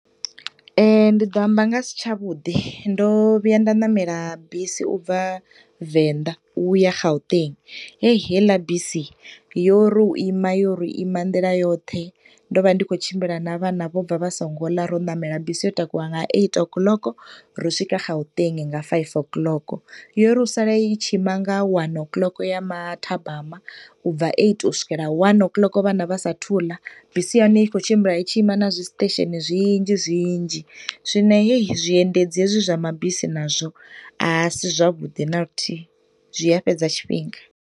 Ndi ḓo amba nga si tsha vhuḓi. Ndo vhuya nda ṋamela bisi ubva Venḓa u ya Gauteng. Heyi, heiḽa bisi yo ri u ima, yo ri u ima nḓila yoṱhe, ndo vha ndi tshi khou tshimbila na vhana vho bva vha so ngo ḽa ro ṋamela bisi yo takuwa nga eight o'clock ro swika Gauteng nga five o'clock. Yo ri u sala u tshi ima nga one o'lock ya mathabama, u bva eight u swikela one o'clock vhana vha sathu ḽa. Bisi ya hone i khou tshimbila i tshi ima na zwiṱesheni zwinzhi zwinzhi. Zwino heyi, zwiendedzi hezwi zwa mabisi nazwo a si zwavhuḓi na luthihi, zwi a fhedza tshifhinga.